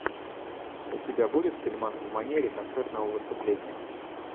у тебя будет фильмас в манере концертного выступления